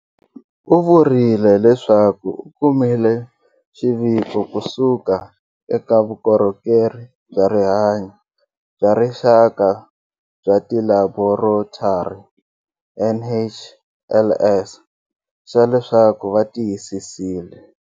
U vurile leswaku u kumile xiviko kusuka eka Vukorhokeri bya Rihanyo bya Rixaka bya Tilaborotari, NHLS xa leswaku va tiyisisile.